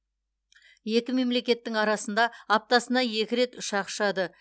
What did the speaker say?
екі мемлекеттің арасында аптасына екі рет ұшақ ұшады